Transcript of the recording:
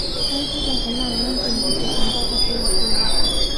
Kaikita kuna aangan tengijepe mpaka teisere